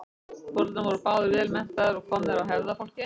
foreldrarnir voru báðir vel menntaðir og komnir af hefðarfólki